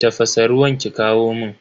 Tafasa ruwan ki kawo mun.